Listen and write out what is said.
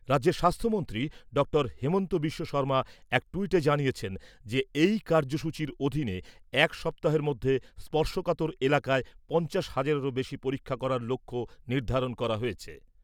রাজ্যের স্বাস্থ্যমন্ত্রী ডঃ হিমন্ত বিশ্ব শর্মা এক ট্যুইটে জানিয়েছেন যে এই কার্যসূচীর অধীনে এক সপ্তাহের মধ্যে স্পর্শকাতর এলাকায় পঞ্চাশ হাজারেরও বেশি পরীক্ষা করার লক্ষ্য নির্ধারণ করা হয়েছে।